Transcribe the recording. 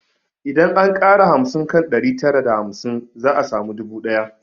Idan an ƙara hamsin kan ɗari tara da hamsin za a samu dubu ɗaya